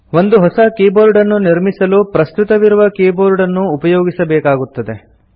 ಒಂದು ಹೊಸ ಕೀಬೋರ್ಡನ್ನು ನಿರ್ಮಿಸಲು ಪ್ರಸ್ತುತವಿರುವ ಕೀಬೋರ್ಡನ್ನು ಉಪಯೋಗಿಸಬೇಕಾಗುತ್ತದೆ